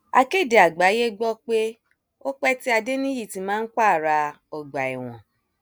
akéde àgbáyé gbọ pé ó pẹ tí adẹniyítì máa ń pààrà ọgbà ẹwọn